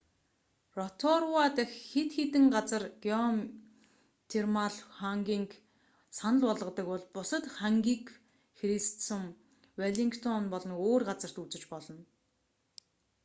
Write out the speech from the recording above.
роторуа дахь хэд хэдэн газар геотермал хангиг санал болгодог бол бусад хангиг христсүм веллингтон болон өөр газарт үзэж болно